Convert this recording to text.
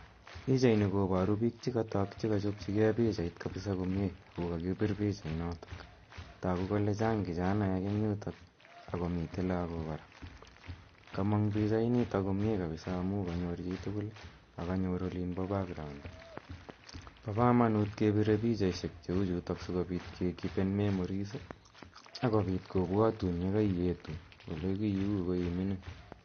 Pichaini koparu piik che katak che kachopchige pichait ako kakipir pichainotok. Tagu kole chang' kichanaek eng' yutok ako mitei lagok kora. Kamang' pichainitok komye kapsa amu kanyor chi tugul ako kanyor olin pa background. Pa kamanut kepire pichaishek cheu chutok si kopit kekipen memories ak kopit kopwatun tun ye kaietu ole kiiu ko i mining'.